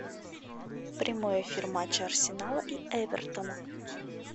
прямой эфир матча арсенала и эвертона